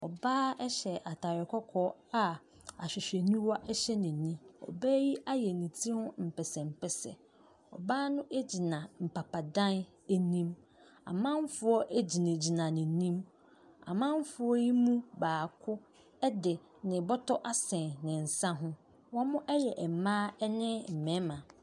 Ɔbea bi hyɛ ataade kɔkɔɔ a ahwehwɛniwa hyɛ nani wayɛ ne tiri ho mpɛsɛmpɛsɛ ɔgyina mpapa dan anim amanfo gyinagyina nanim wɔn mu biako de bɔtɔ asɛn ne nsa ho wɔyɛ mmaa ne mmarima.